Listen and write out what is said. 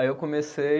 Aí eu comecei